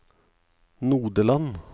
Nodeland